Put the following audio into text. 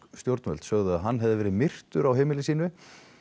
stjórnvöld sögðu að hann hefði verið myrtur á heimili sínu